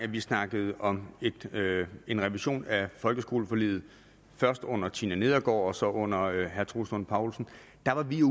vi snakkede om en revision af folkeskoleforliget først under fru tina nedergaard og også under herre troels lund poulsen